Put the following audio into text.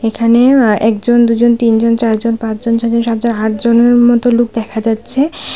এখানে একজন দুজন তিনজন চারজন পাঁচজন ছজন সাতজন আটজনের মতো লোক দেখা যাচ্ছে।